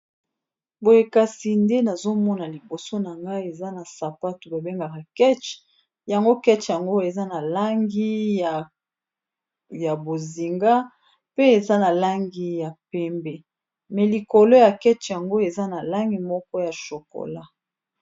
Boye kasi nde nazomona liboso na ngai, eza na sapatu babengaka keche, yango keche yango eza na langi ya bozinga pe eza na langi ya pembe, Kasi likolo ya keche yango eza na langi moko ya shokola.